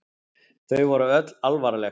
Þau voru öll alvarleg.